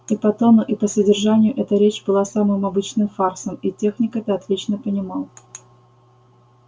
и по тону и по содержанию эта речь была самым обычным фарсом и техник это отлично понимал